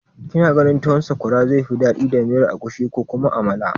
Kina ganin tuwon sakwara zai fi daɗi da miyar agushi ko kuma amala?